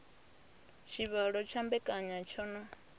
tshivhalo tsha mbekanya tsho no